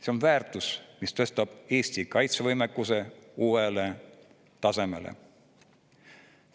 See on väärtus, mis tõstab Eesti kaitsevõimekuse uuele tasemele.